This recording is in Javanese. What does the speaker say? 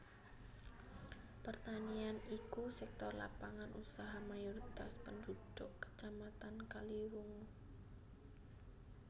Pertanian iku sektor lapangan usaha mayoritas pendhudhuk Kacamatan Kaliwungu